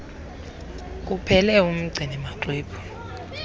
kuphela umgcini maxwebhu